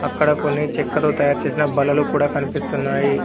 అక్కడ కొన్ని చెక్కతో తయారు చేసిన బల్లలు కూడా కనిపిస్తున్నాయి.